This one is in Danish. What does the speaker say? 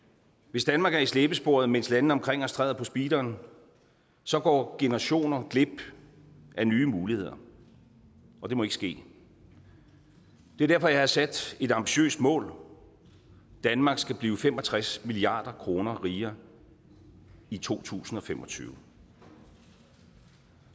hvis danmark er i slæbesporet mens landene omkring os træder på speederen så går generationer glip af nye muligheder og det må ikke ske det er derfor jeg har sat et ambitiøst mål danmark skal blive fem og tres milliard kroner rigere i to tusind og fem og tyve